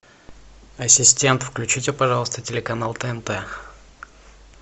ассистент включите пожалуйста телеканал тнт